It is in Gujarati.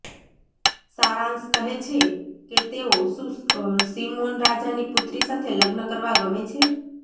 સારાંશ કહે છે કે તેઓ શું સિમોન રાજાની પુત્રી સાથે લગ્ન કરવા ગમે છે